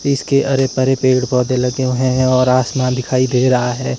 इसके अरे परे पेड़ पौधे लगे हुए हैं और आसमान दिखाई दे रहा है।